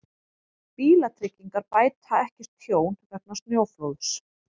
Bílatryggingar bæta ekki tjón vegna snjóflóðs